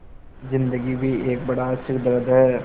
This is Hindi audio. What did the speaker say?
ज़िन्दगी भी एक बड़ा सिरदर्द है